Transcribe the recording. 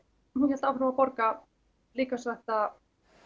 hún hélt áfram að borga líkamsræktarkort